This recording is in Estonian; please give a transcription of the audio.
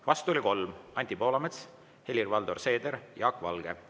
Vastu oli 3: Anti Poolamets, Helir-Valdor Seeder ja Jaak Valge.